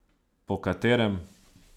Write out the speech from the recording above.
Po katerem?